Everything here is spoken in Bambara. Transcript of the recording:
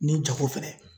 Ni jago fɛnɛ